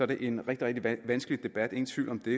det en rigtig vanskelig debat ingen tvivl om det